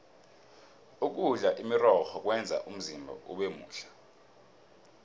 ukudla imirorho kwenza umzimba ubemuhle